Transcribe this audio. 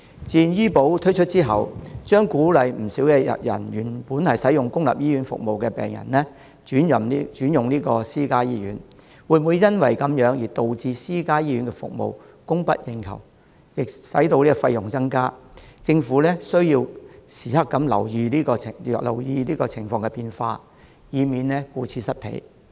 自願醫保推出後，將鼓勵不少原本使用公立醫院服務的病人轉到私家醫院，會否因此而導致私家醫院服務供不應求、費用增加，政府需要時刻留意情況變化，以免顧此失彼。